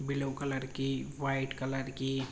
yellow colour की white colour की --